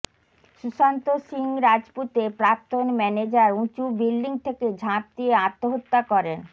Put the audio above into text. সুশান্ত সিং রাজপুতের প্রাক্তন ম্যানেজার উঁচু বিল্ডিং থেকে ঝাঁপ দিয়ে আত্মহত্যা করেন